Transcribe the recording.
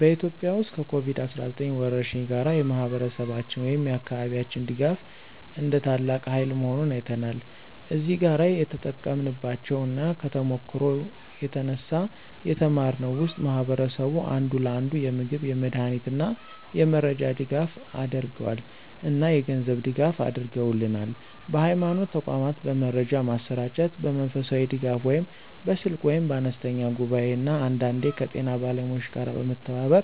በኢትዮጵያ ውስጥ ከኮቪድ-19 ወረርሽኝ ጋር፣ የማህበረሰባችን ወይም የአካባቢያችን ድጋፍ እንደ ታላቅ ሃይል መሆኑን አይተናል። እዚህ ጋር የተጠቀምንባቸው እና ከተሞክሮው የተነሳ የተማርነው ውስጥ ማህበረሰቡ አንዱ ለአንዱ የምግብ፣ የመድሃኒት እና የመረጃ ድጋፍ አደረገል እና የገንዝብ ድጋፍ አድርገውልናል። በሀይማኖት ተቋማት በመረጃ ማሰራጨት፣ በመንፈሳዊ ድጋፍ (በስልክ ወይም በአነስተኛ ጉባኤ) እና አንዳንዴ ከጤና ባለሙያዎች ጋር በመተባበር